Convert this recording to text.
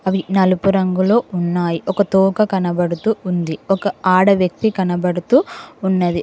అవి నలుపు రంగులో ఉన్నాయ్ ఒక తోక కనబడుతూ ఉంది ఒక ఆడ వ్యక్తి కనబడుతూ ఉన్నది.